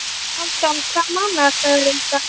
Hálfdan, hvaða mánaðardagur er í dag?